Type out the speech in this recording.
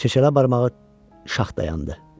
Keçələ barmağı şax dayandı.